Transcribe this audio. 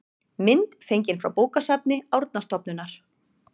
mynd fengin frá bókasafni árnastofnunar